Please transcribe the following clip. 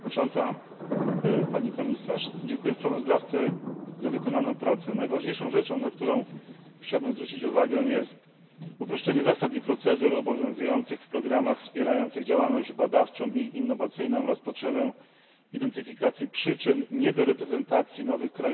Pani Przewodnicząca! Dziękuję sprawozdawcy za wykonaną pracę. Najważniejszą rzeczą, na którą chciałbym zwrócić uwagę, jest uproszczenie zasad i procedur obowiązujących w programach wspierających działalność badawczą i innowacyjną oraz potrzeba identyfikacji przyczyn niedoreprezentacji nowych krajów Unii Europejskiej.